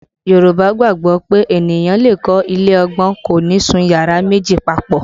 Yorùbá gbàgbọ́ pé ènìyàn lè kọ́ ilé ọgbọ́n, kò ní sun yàrá méjì papọ